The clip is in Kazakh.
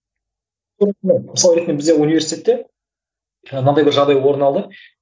мысалы ретінде бізде университетте мынандай бір жағдай орын алды